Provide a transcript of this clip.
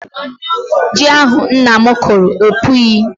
Ji ahụ nna m kụrụ epughị.